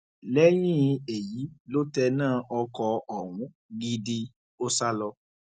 lẹyìn èyí ló tẹná ọkọ ọhún gidi ó sá lọ